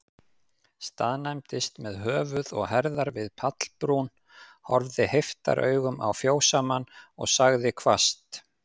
Staðnæmdist með höfuð og herðar við pallbrún, horfði heiftaraugum á fjósamann, og sagði hvasst